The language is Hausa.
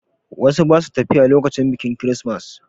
Wasu ba su tafiya lokacin biƙin kirismas.